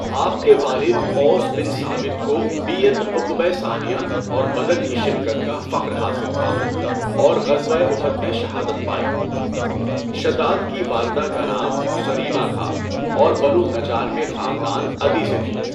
آپ کے والد اوس بن ثابت کو بیعت عقبہ ثانیہ اور بدر کی شرکت کا فخر حاصل تھا اور غزوہ احد میں شہادت پائی، شداد کی والدہ کا نام صریمہ تھا اور بنو نجار کے خاندان عدی سے تھیں۔